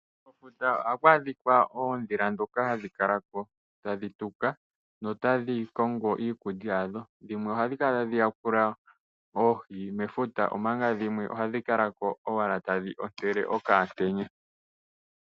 Kefuta ohaku adhika oondhila dhoka hadhi kala ko tadhi tuka, notadhi kongo iikulya yadho. Dhimwe ohadhi kala tadhi yakula iohi mefuta, omanga dhimwe ohadhi kala ko owala tadhi ontele okamutenya.